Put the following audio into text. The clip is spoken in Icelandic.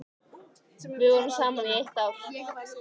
Við vorum saman í eitt ár.